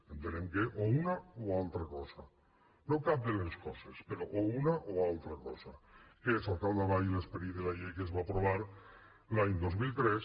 entenem que o una o altra cosa no cap de les coses però o una o altra cosa que és al capdavall l’esperit de la llei que es va aprovar l’any dos mil tres